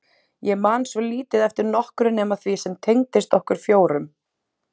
Ég man svo lítið eftir nokkru nema því sem tengdist okkur fjórum.